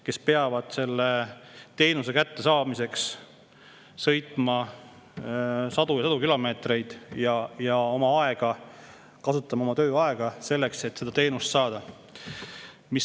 Nad peavad mõne teenuse kättesaamiseks sõitma sadu ja sadu kilomeetreid ja kasutama selleks ka oma tööaega.